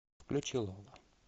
включи лола